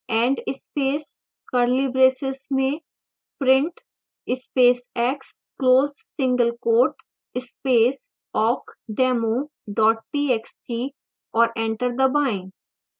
end space curly braces में print space x close single quote space awkdemo txt और enter दबाएं